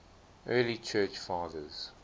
early church fathers